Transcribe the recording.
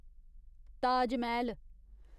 Taj Mahal